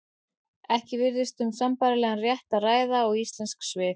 Ekki virðist um sambærilegan rétt að ræða og íslensk svið.